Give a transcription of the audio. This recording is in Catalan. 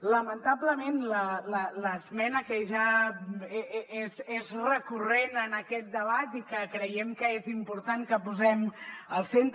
lamentablement l’esmena que ja és recurrent en aquest debat i que creiem que és important que posem al centre